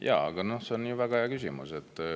Jaa, see on väga hea küsimus.